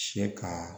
Se ka